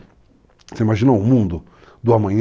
Você imaginou o mundo do amanhã?